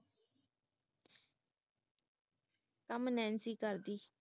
ਕੰਮ ਨੈਂਸੀ ਕਰਦੀ ਹੈ